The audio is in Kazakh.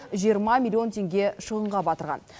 жиырма миллион теңге шығынға батырған